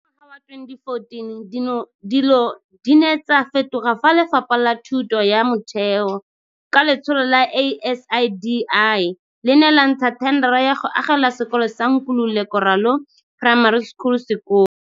Ka ngwaga wa 2014, dilo di ne tsa fetoga fa Lefapha la Thuto ya Motheo, ka letsholo la ASIDI, le ne la ntsha thendara ya go agela sekolo sa Nkululeko Ralo Primary School sekolo.